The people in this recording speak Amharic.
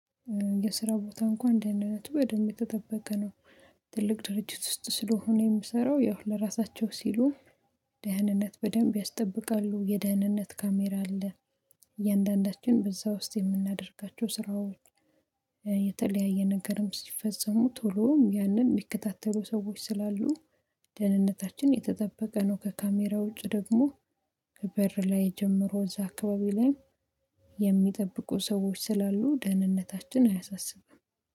የስራ ቦታ እንኳን ደህና ነቱ ወደሚጠበቀ ነው። ትልቅ ድርጅት ውስጥ ስለሆነ የምሰራው ያው ለራሳቸው ሲሉ ደህንነት በደንብ ያስጠብቃሉ የደህንነት ካሜራ አለ። እያንዳንዳችን በዛ ውስጥ የምናደርጋቸው ስራዎች። የተለያየ ነገርም ሲፈጸሙ ቶሎም ያንን የሚከታተሉ ሰዎች ስላሉ። ደህንነታችን የተጠበቀ ነው። ከካሜራ ውጭ ደግሞ ከበር ላይ የጀመረው እዛ አካባቢ ላይ። የሚጠብቁ ሰዎች ስላሉ ደህንነታችን አያሳስብም